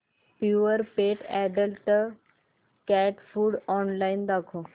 Purepet adult cat food online दाखव